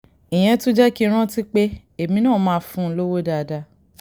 ìyẹn tún jẹ́ kí n rántí pé èmi náà máa fún un lówó dáadáa